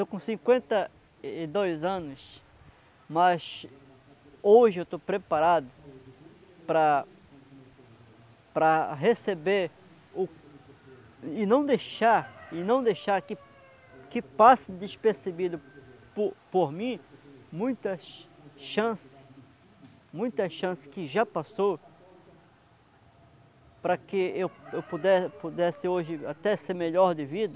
Estou com cinquenta e dois anos, mas hoje eu estou preparado para para receber o e não deixar e não deixar que passe despercebido por mim muitas chances muitas chances, muitas chance muita chance que já passou para que eu pudesse hoje até ser melhor de vida.